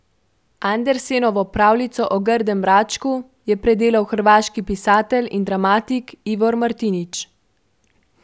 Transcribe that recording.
Andersenovo pravljico o grdem račku je predelal hrvaški pisatelj in dramatik Ivor Martinić.